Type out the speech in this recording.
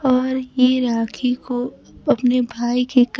और ये राखी को अपने भाई की क--